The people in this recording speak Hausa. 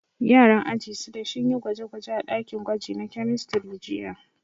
Yaran aji shida sun yi gwaje-gwaje a dakin gwaji na kemistri jiya.